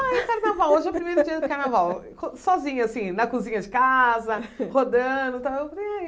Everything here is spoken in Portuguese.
Ai, carnaval, hoje é o primeiro dia do carnaval, co sozinha assim, na cozinha de casa, rodando e tal, falei ai